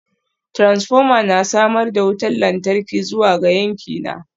Transformer na samar da wutar lantarki zuwa ga yankina